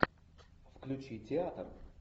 включи театр